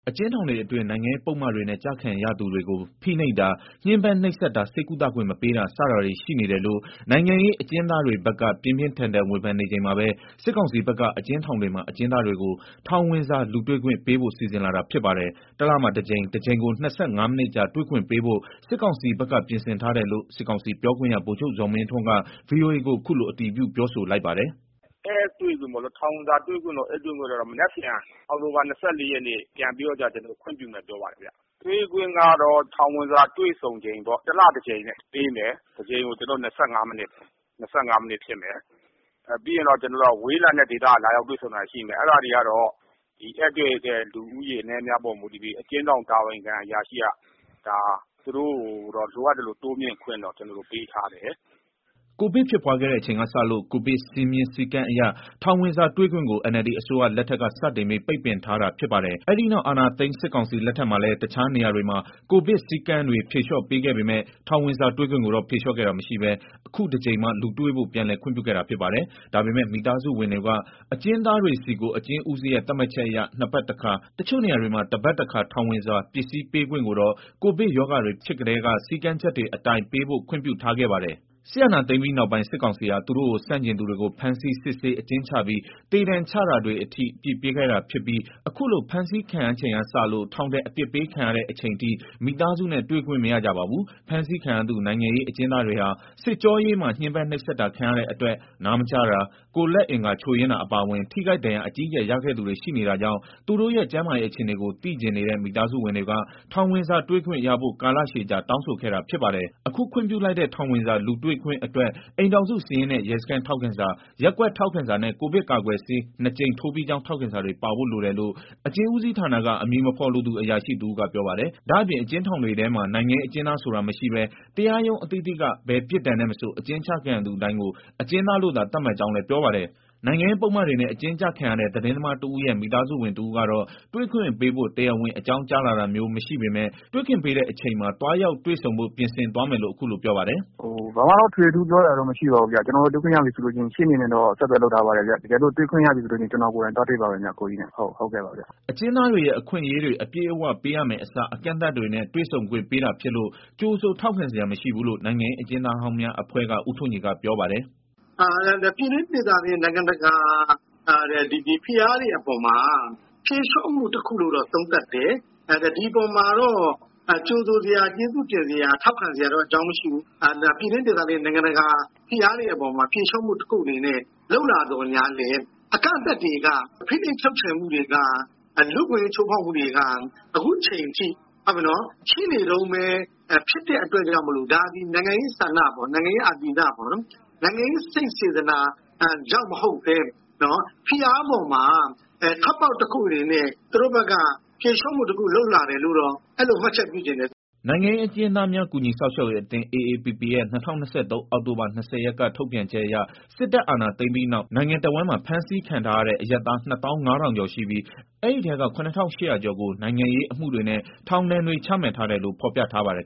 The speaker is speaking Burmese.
အကျဉ်းထောင်တွေအတွင်း နိုင်ငံရေးပုဒ်မတွေနဲ့ ကျခံရသူတွေကို ဖိနှိပ်တာ၊ ညှင်းပန်းနှိပ်စက်တာ ဆေးကုသခွင့် မပေးတာ စတာတွေရှိနေတယ်လို့ နိုင်ငံရေးအကျဉ်းသားတွေဘက်က ပြင်းပြင်းထန်ဝေဖန်နေချိန်မှာဘဲ စစ်ကောင်စီဘက်က အကျဉ်းထောင်တွေမှာ အကျဉ်းသားတွေကို ထောင်ဝင်စာလူတွေ့ ခွင့်ပေးဖို့ စီစဉ်လာတာ ဖြစ်ပါတယ်။ တလမှာ တကြိမ်၊ တကြိမ်ကို ၂၅ မိနစ်ကြာ တွေ့ခွင့်ပေးဖို့ စစ်ကောင်စီဘက်က ပြင်ဆင်ထားတယ်လို့ စစ်ကောင်စီပြောခွင့်ရ ဗိုလ်ချုပ်ဇော်မင်းထွန်းက ဗွီအိုအေကို ခုလိုအတည်ပြုပြောဆိုလိုက်ပါတယ်။ "ဧည့်တွေ့ထောင်ဝင်စာတွေ့ခွင့်ကတော့ မနက်ဖြန် အောက်တိုဘာ ၂၄ ရက်နေ့ကနေပြန်ပြီးတော့ခွင့်ပြု မယ်ပြောပါတယ်ဗျ။ တွေ့ခွင့်ကတော့ထောင်ဝင်စာတွေ့ဆုံချိန်ပေါ့ တလတကြိမ်ပေးမယ် တကြိမ်ကို ၂၅မိနစ် ၂၅မိနစ်ပေးမယ်။ ပြီးရင်တော့ ဝေးလံတဲ့ဒေသကနေ လာရောက်တွေ့ဆုံရတာ တွေရှိမယ်။ အဲဒါတွေကတော့ ဧည့်တွေ့တဲ့ လူဦးရေ အနည်းအများပေါ်မူတည်ပြီး အကျဉ်းထောင်တာဝန်ခံ အရာရှိက သူတို့ကို လိုအပ်သလို တိုးမြှင့်ခွင့်တော့ ကျနော်တို့ပေးထားတယ်။" ကိုဗစ်ဖြစ်ပွားခဲ့တဲ့ အချိန်ကစလို့ ကိုဗစ်စည်းမျဉ်း စည်းကမ်းအရ ထောင်ဝင်စာတွေ့ခွင့်ကို NLD အစိုးရ လက်ထက်က စတင်ပြီး ပိတ်ပင်ထားတာ ဖြစ်ပါတယ်။ အဲဒီနောက်အာဏာသိမ်း စစ်ကောင်စီလက်ထက်မှာလည်း တခြားနေရာတွေမှာ ကိုဗစ်စည်းကမ်းတွေ ဖြေလျော့ပေးခဲ့ပေမယ့် ထောင်ဝင်စာတွေ့ ခွင့်ကိုတော့ ဖြေလျော့ခဲ့တာ မရှိဘဲ ခုတကြိမ်မှ လူတွေ့ဖို့ ပြန်လည်ခွင့်ပြုခဲ့တာ ဖြစ်ပါတယ်။ ဒါပေမယ့် မိသားစုဝင်တွေက အကျဉ်းသားတွေဆီကို အကျဉ်းဦးစီးရဲ့ သတ်မှတ်ချက်အရ ၂ ပတ် တခါတချို့နေရာတွေမှာ ၁ ပါတ် တခါ ထောင်ဝင်စာ ပစ္စည်းပေးခွင့်ကိုတော့ ကိုဗစ်ရောဂါတွေဖြစ်ကတည်းက စည်းကမ်းချက်တွေ အတိုင်းပေးဖို့ ခွင့်ပြုထားခဲ့ပါတယ်။ စစ်အာဏာသိမ်းပြီးနောက်ပိုင်း စစ်ကောင်စီဟာ သူတို့ကိုဆန့်ကျင်သူတွေကို ဖမ်းဆီး၊ စစ်ဆေးအကျဉ်းချပြီး သေဒဏ်ချတာတွေ အထိ အပြစ်ပေးခဲ့တာဖြစ်ပြီး အခုလို ဖမ်းဆီးခံရချိန်ကစလို့ ထောင်ဒဏ် အပြစ်ပေးခံရတဲ့ အချိန်အထိ မိသားစုနဲ့ တွေ့ခွင့်မရကြပါဘူး။ ဖမ်းဆီးခံရသူနိုင်ငံရေး အကျဉ်းသားတွေဟာ စစ်ကြောရေးမှာ ညှဉ်းပန်းနှိပ်စက်တာခံရတဲ့ အတွက် နားမကြားတာ၊ ကိုယ်လက်အင်္ဂါချို့ယွင်းတာ အပါအဝင် ထိခိုက်ဒဏ်ရာ အကြီးအကျယ်ရခဲ့သူတွေ ရှိနေတာကြောင့် သူတို့ရဲ့ ကျန်းမာရေးအခြေနေကို သိချင်နေတဲ့ မိသားစုဝင်တွေက ထောင်ဝင်စာတွေ့ခွင့်ရဖို့ ကာလရှည်ကြာ တောင်းဆိုခဲ့တာဖြစ်ပါတယ်။ အခု ခွင့်ပြုလိုက်တဲ့ ထောင်ဝင်စာလူတွေ့ခွင့်အတွက် အိမ်ထောင်စုစာရင်းနဲ့ ရဲစခန်းထောက်ခံစာ၊ ရပ်ကွက်ထောက် ခံစာနဲ့ ကိုဗစ်ကာကွယ်ဆေး နှစ်ကြိမ်ထိုးပြီးကြောင်း ထောက်ခံစာတွေပါဖို့ လိုတယ်လို့ အကျဉ်းဦးစီးဌာနက အမည်မဖော်လိုသူ အရာရှိတဦးက ပြောပါတယ်။ ဒါ့အပြင် အကျဉ်းထောင်တွေထဲမှာ နိုင်ငံရေးအကျဉ်းသားဆိုတာမရှိပဲ တရားရုံးအသီးသီးက ဘယ်ပြစ်ဒဏ်နဲ့မဆို အကျဉ်းကျခံရသူတိုင်းကို အကျဉ်းသားလို့သာ သတ်မှတ်ကြောင်းလည်း ပြောပါတယ်။ နိုင်ငံရေးပုဒ်မတွေနဲ့ အကျဉ်းကျခံရတဲ့ သတင်းသမားတဦးရဲ့မိသားစုဝင်တစ်ဦးကတော့ တွေ့ခွင့်ပေးဖို့ တရားဝင်အကြောင်းကြားလာတာမျိုးမရှိပေမယ့် တွေ့ခွင့်ပေးတဲ့အချိန်မှာ သွားရောက်တွေ့ဆုံဖို့ ပြင်ဆင်သွားမယ်လို့ အခုလိုပြောပါတယ်။ "ဘာမှတော့ထွေထူးပြောစရာမရှိပါဘူး။ တွေ့ခွင့်ရတယ်ဆိုရင်ရှေ့နေနဲ့တော့ ဆက်သွယ်လုပ်ထားပါ တယ်။ တွေ့ခွင့်ရတယ်ဆိုရင် ကျနော်ကိုယ်တိုင်ကိုကျကို သွားတွေ့ပါမယ်။ ဟုတ်ကဲ့ပါဗျ။" အကျဉ်းသားတွေရဲ့အခွင့်အရေးတွေ အပြည့်အဝပေးရမဲ့အစား အကန့်အသတ်တွေနဲ့ တွေ့ဆုံခွင့် ပေး တာဖြစ်လို့ ကြိုဆိုထောက်ခံစရာမရှိဘူးလို့ နိုင်ငံရေးအကျဉ်းသားဟောင်းများအဖွဲ့က ဦးထွန်းကြည်က ပြောပါတယ်။ "ပြည်တွင်းဒေသတွင်းနိုင်ငံတကာ ဖိအားတွေ အပေါ် ဖြေလျော့မှုတခု လို့သုံးသပ်တယ်။ ဒီအပေါ်မှာတော့ ကြိုဆိုစရာ၊ ကျေးဇူးတင်စရာ ထောက်ခံစရာအကြောင်းမရှိဘူး။ ပြည်တွင်းဒေသ တွင်းနိုင်ငံတကာ ဖိအားတွေ အပေါ်ဖြေလျော့မှုတခု လုပ်လာသော်ငြားလည်း အကန့်အသတ်တွေက ဖိနှိပ်ချုပ်ချယ်မှုတွေက လူ့အခွင့်အရေးချိုးဖောက်မှုတွေက အခုအချိန်ထိရှိနေတုန်းဘဲ။ ဖြစ်လို့ ဒါကနိုင်ငံရေးဆန္ဒ၊ နိုင်ငံရေးအာသီသ နိုင်ငံရေးစိတ်စေတနာ ကြောင့်မဟုတ်ဘဲဖိအားပေါ်မှာ ထွက်ပေါက်တခုအနေနဲ့ သူတို့ဘက်က ဖြေလျှော့မှုလုပ်တာတခုဘဲလို့အဲလိုဘဲ မြင်တယ်။" နိုင်ငံရေးအကျဉ်းသားများ ကူညီစောင့်ရှောက်ရေးအသင်း (AAPP) ရဲ့ ၂၀၂၃ အောက်တိုဘာ ၂၀ ရက်က ထုတ်ပြန်ချက်အရ စစ်တပ်အာဏာသိမ်းပြီးနောက် နိုင်ငံတစ်ဝန်းမှာ ဖမ်းဆီးခံထားရတဲ့ အရပ်သား နှစ်သောင်း ငါးထောင်ကျော်ရှိပြီး၊ အဲဒီအထဲက ခုနစ်ထောင့်ရှစ်ရာကျော်ကို နိုင်ငံရေးအမှုတွေနဲ့ ထောင် ဒဏ်တွေ ချထားတယ်လို့ ဖော်ပြထားပါတယ်